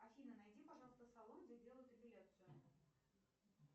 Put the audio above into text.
афина найди пожалуйста салон где делают эпиляцию